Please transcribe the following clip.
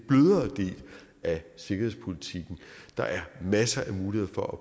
af sikkerhedspolitikken der er masser af muligheder for